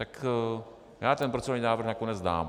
Tak já ten procedurální návrh nakonec dám.